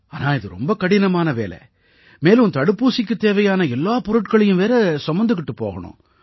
ஆனா இது ரொம்ப கடினமான வேலை மேலும் தடுப்பூசிக்குத் தேவையான எல்லா பொருட்களையும் வேற சுமந்துக்கிட்டு போகணும்